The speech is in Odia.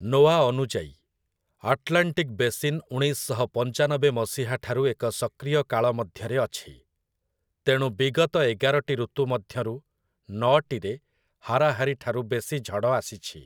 ନୋଆ' ଅନୁଯାୟୀ, ଆଟ୍ଲାଣ୍ଟିକ୍ ବେସିନ୍ ଉଣେଇଶ ଶହ ପଞ୍ଚାନବେ ମସିହାଠାରୁ ଏକ ସକ୍ରିୟ କାଳ ମଧ୍ୟରେ ଅଛି, ତେଣୁ ବିଗତ ଏଗାରଟି ଋତୁ ମଧ୍ୟରୁ ନଅଟିରେ ହାରାହାରି ଠାରୁ ବେଶୀ ଝଡ଼ ଆସିଛି ।